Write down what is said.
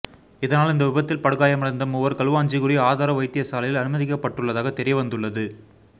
இதனால் இந்த விபத்தில் படுகாயமடைந்த மூவர் களுவாஞ்சிகுடி ஆதார வைத்தியசாலையில் அனுமதிக்கப்பட்டுள்ளதாக தெரியவந்துள்ளத்